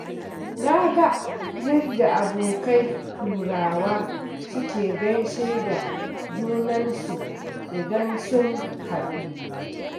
Na ga yadda abokai Turawa suke gaishe da junansu idan sun haɗu.